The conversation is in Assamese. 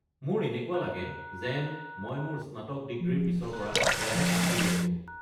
মোৰ এনেকুৱা লাগে যেন মই মোৰ স্নাতক ডিগ্ৰীৰ পিছৰ পৰা একেৰাহে কাম কৰি আছো।